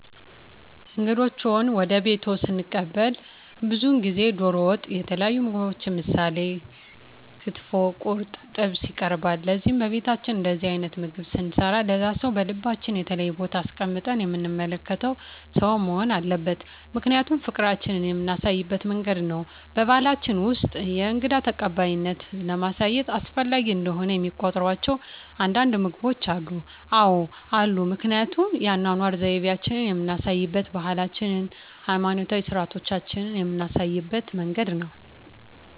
እንግዶችዎን ወደ ቤትዎ ስንቀበል ብዙውን ጊዜ ደሮ ወጥ የተለያዩ ምግቦች ምሳሌ ክትፎ ቁርጥ ጥብስ ይቀርባል ለዚህም በቤታችን እንደዚህ አይነት ምግብ ስንሰራ ለዛ ሰው በልባችን የተለየ ቦታ አስቀምጠን የምንመለከተው ሰው መሆን አለበት ምክንያቱም ፍቅራችን የምናሳይበት መንገድ ነው በባሕላችን ውስጥ የእንግዳ ተቀባይነትን ለማሳየት አስፈላጊ እንደሆነ የሚቆጥሯቸው አንዳንድ ምግቦች አሉ? አዎ አሉ ምክንያቱም የአኗኗር ዘይቤአችንን የምናሳይበት ባህላችንን ሀይማኖታዊ ስርአቶቻችንን ምናሳይበት መንገድ ነው